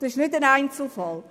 Dies ist kein Einzelfall.